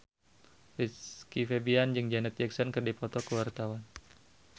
Rizky Febian jeung Janet Jackson keur dipoto ku wartawan